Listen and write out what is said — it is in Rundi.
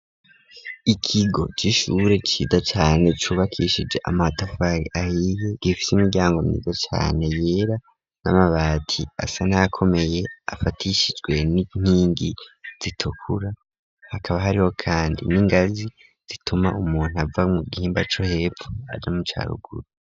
Ikigo c'ishure ciza cane cubakishije amatafari ahiye, gifise imiryango myiza cane yera n'amabati asa n'ayakomeye afatishijwe n'inkingi zitukura hakaba hariho kandi n'ingazi zituma umuntu ava mu gihimba co hepfo aja mu ca ruguru.